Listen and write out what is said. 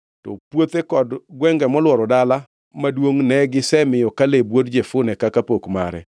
To puothe kod gwenge molworo dala maduongʼ ne gisemiyo Kaleb wuod Jefune kaka pok mare.